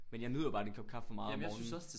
Men jeg nyder bare den kop kaffe meget om morgenen